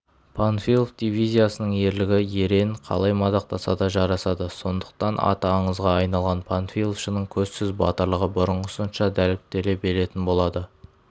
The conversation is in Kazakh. панфилов дивизиясының ерлігі ерен қалай мадақтаса да жарасады сондықтан аты аңызға айналған панфиловшының көзсіз батырлығы бұрынғысынша дәріптеле беретін болады